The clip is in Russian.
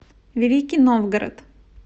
великий новгород